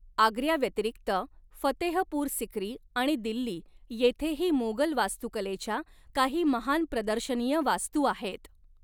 आग्र्याव्यतिरिक्त, फतेहपूर सिक्री आणि दिल्ली येथेही मोेगल वास्तुकलेच्या काही महान प्रदर्शनीय वास्तू आहेत.